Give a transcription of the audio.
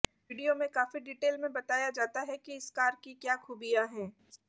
video में काफी detail में बताया जाता है कि इस कार की क्या खूबियां हैं